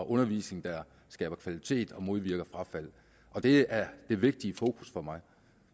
undervisning der skaber kvalitet og modvirker frafald og det er det vigtige fokus for mig